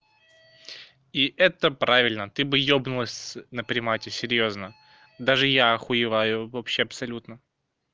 и это правильно ты бы ёбнулась на примате серьёзно даже я охуеваю вообще абсолютно